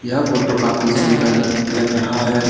यह फोटो काफी सुंदर लग रहा है।